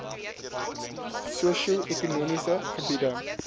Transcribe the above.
sosio ekonomiese gebiede